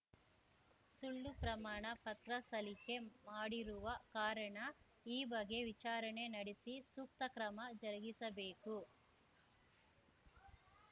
ಸುಳ್ಳು ಪ್ರಮಾಣ ಪತ್ರ ಸಲಿಕೆ ಮಾಡಿರುವ ಕಾರಣ ಈ ಬಗ್ಗೆ ವಿಚಾರಣೆ ನಡೆಸಿ ಸೂಕ್ತ ಕ್ರಮ ಜರುಗಿಸಬೇಕು